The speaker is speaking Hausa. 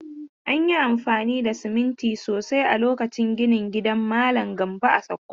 An yi amfani da siminti sosai a lokacin ginin gidan malam Gambo a Sokoto.